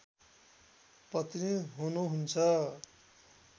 पत्नी हुनुहुन्छ